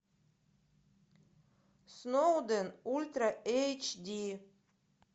сноуден ультра эйч ди